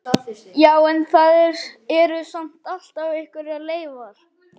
Já, en það eru samt alltaf einhverjar leifar.